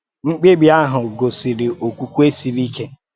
Mkpèbí ahụ gosìrì okwukwe siri ike